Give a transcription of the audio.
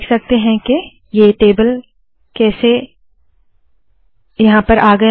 आप देख सकते है के टेबल आ गया है